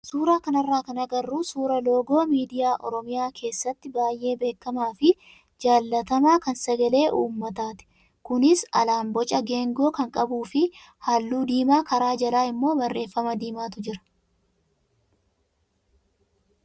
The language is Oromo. Suuraa kanarraa kan agarru suuraa loogoo miidiyaa oromiyaa keessatti baay'ee beekamaa fi jaallatamaa kan sagalee uummataati. Kunis alaan boca geengoo kan qabuu fi halluu diimaa karaa jalaa immoo barreeffama diimaatu jira.